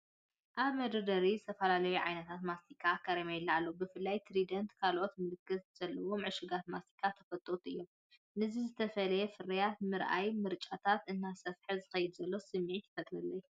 ኣብ መደርደሪታት ዝተፈላለዩ ዓይነታት ማስቲካን ካራሜላታትን ኣለዉ። ብፍላይ ትራይደንትን ካልኦት ምልክት ዘለዎም ዕሹጋት ማስቲካን ተፈተውቲ እዮም። ነዚ ዝተፈላለየ ፍርያት ምርኣየይ ምርጫታተይ እናሰፍሐ ዝኸይድ ዘሎ ስምዒት ይፈጥረለይ።